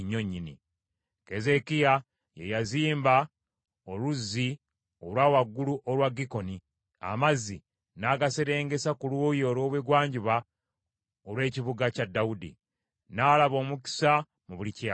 Keezeekiya, ye yaziba oluzzi olwa waggulu olwa Gikoni, amazzi n’agaserengesa ku luuyi olw’ebugwanjuba olw’ekibuga kya Dawudi. N’alaba omukisa mu buli kye yakolanga.